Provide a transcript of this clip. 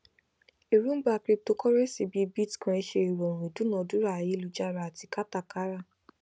erongba cryptocurrencies bíi bitcoin ṣe ìrọrùn ìdúnadúrà ayélujára àti katakara